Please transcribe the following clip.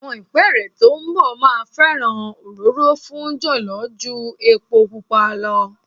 Àwọn ìpẹ́ẹ́rẹ́ tó ń bọ̀ máa fẹ́ràn òróró fún jọ̀lọ́ ju epo pupa lọ.